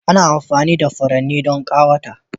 Ana amfani da furanni don ƙawata